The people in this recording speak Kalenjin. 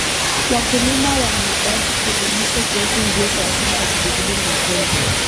Wakulima wanahitaji kuelimishwa kuhusu njia za asili za kudhibiti magonjwa.